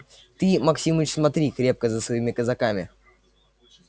ты максимыч смотри крепко за своими казаками